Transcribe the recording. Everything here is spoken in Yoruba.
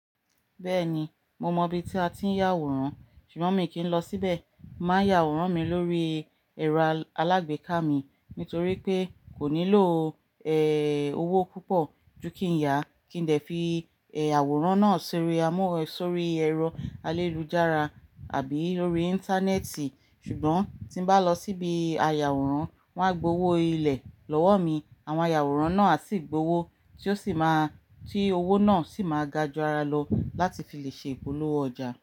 Bẹ́ẹ̀ni, mo mọ ibi tí a ti ń yà àwòrán, ṣùgbọ́n mi kì í lọ síbẹ̀. Máa yà àwòrán mi lórí ẹ̀rọ alágbèéká mi nítorí pé kò nílò, ẹ́hn, owó púpọ̀ ju kí n yà, kí n lè fi, ẹ́, àwòrán náà sórí amó, sórí ẹ̀rọ ayélujára àbí lórí Íńtánẹ́ẹ̀tì. Ṣùgbọ́n, tí n bá lọ sí ibi ayàwòrán, wọ́n á gbowó ilẹ̀ lọ́wọ́ mi, àwọn ayàwòrán náà sì gbowó, tí ó sì máa, tí owó náà sì máa ga ju ara lọ láti fi lè ṣe ìpolówó ọjà.